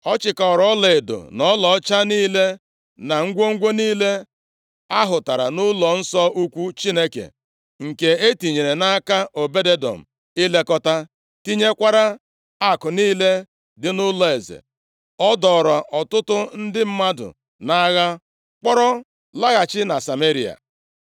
Ọ chịkọrọ ọlaedo na ọlaọcha niile na ngwongwo niile ahụtara nʼụlọnsọ ukwu Chineke, nke e tinyere nʼaka Obed-Edọm ilekọta, tinyekwara akụ niile dị nʼụlọeze. Ọ dọọrọ ọtụtụ ndị mmadụ nʼagha, kpọrọ laghachi na Sameria.